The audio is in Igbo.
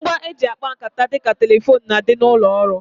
Ngwa e ji akpa nkata dịka telefone n'adi n'ụlọ ọrụ